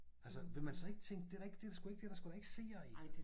Altså ville man så ikke tænke det da ikke det der sgu ikke det der sgu da ikke seere i?